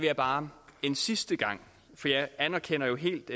jeg bare en sidste gang for jeg anerkender jo helt